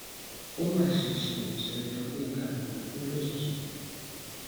ó mà ṣe ṣe ó sènítọ gbéńga àlùkò kù lójijì